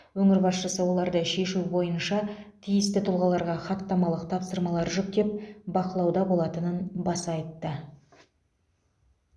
өңір басшысы оларды шешу бойынша тиісті тұлғаларға хаттамалық тапсырмалар жүктеп бақылауда болатынын баса айтты